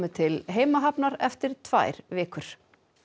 til heimahafnar eftir tvær vikur